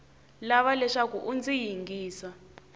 lava leswaku u ndzi yingisa